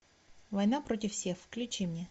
война против всех включи мне